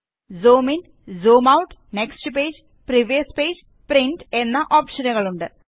zoom in zoom out next page previous page print എന്ന ഓപ്ഷനുകൾ ഉണ്ട്